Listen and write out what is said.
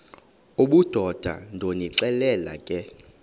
obudoda ndonixelela ke